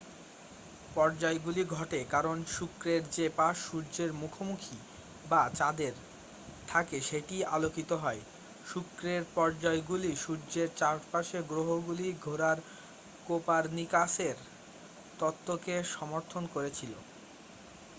পর্যায়গুলি ঘটে কারণ শুক্রের যে পাশ সূর্যের মুখোমুখি বা চাঁদের থাকে সেটিই আলোকিত হয়। শুক্রের পর্যায়গুলি সূর্যের চারপাশে গ্রহগুলি ঘোরার কোপারনিকাসের তত্ত্বকে সমর্থন করেছিলো।